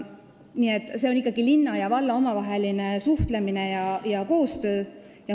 " Nii et see on ikkagi linna ja valla omavaheline suhtlemine ja koostöö.